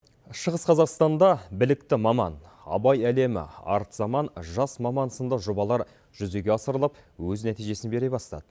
шығыс қазақстанда білікті маман абай әлемі арт заман жас маман сынды жобалар жүзеге асырылып өз нәтижесін бере бастады